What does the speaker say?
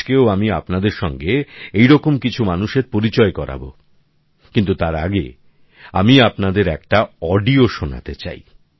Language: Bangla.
আজকেও আমি আপনাদের সঙ্গে এরকম কিছু মানুষের পরিচয় করাব কিন্তু তার আগে আমি আপনাদের একটা অডিও শোনাতে চাই